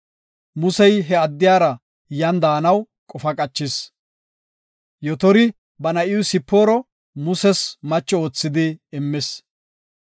Musey he addiyara yan de7anaw qofa qachis. Yotori ba na7iw Sipooro Muses macho oothidi immis.